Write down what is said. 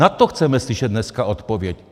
Na to chceme slyšet dneska odpověď.